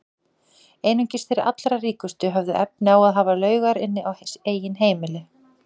Einungis þeir allra ríkustu höfðu efni á að hafa laugar inni á eigin heimili.